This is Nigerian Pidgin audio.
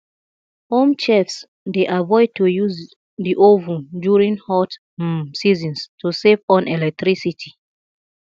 home chefs dey avoid to use the oven during hot um seasons to save on electricity